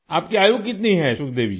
आपकी आयु कितनी है सुखदेवी जी